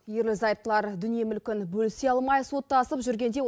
ерлі зайыптылар дүние мүлкін бөлісе алмай соттасып жүргенде